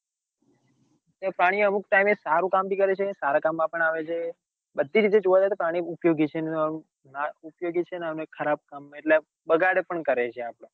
તે પ્રાણી અમુક tim એ સારું કામ ભી કરે છે સારા કામ માં પણ આવે છે બધી રીતે જોવા જઈએ તો પ્રાણી ઉપયોગી છે ઉપયોગી છે ન ખરાબ કામ માં એટલ બગાડ પણ કરે છે આપડો